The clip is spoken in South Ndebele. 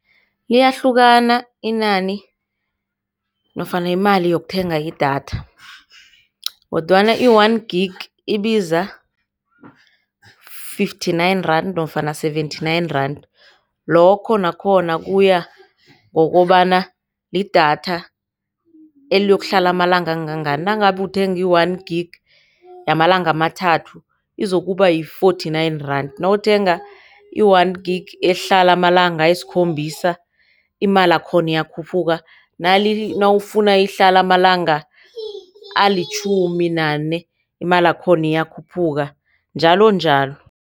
Liyahlukana inani nofana imali yokuthenga idatha, kodwana i-one gig ibiza fifty-nine rand nofana seventy-nine rand, lokho nakhona kuyangokobana lidatha eliyokuhlala amalanga angangani. Nangabe uthenge one gig yamalanga amathathu izokuba yi-forty-nine rand, nawuthenga i-one gig ehlala amalanga ayisikhombisa imali yakhona iyakhuphuka. Nawufuna ihlala amalanga alitjhumi nane imali yakhona iyakhuphuka njalonjalo.